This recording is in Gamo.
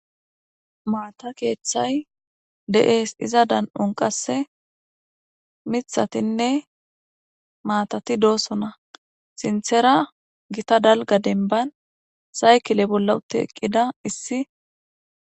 Maata keeththay de'ees iza dan'un qasse mithatinne maatati doosona sinthera gita dalga denban saykile bolla utti eqqida issi